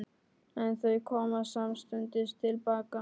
En þau koma samstundis til baka.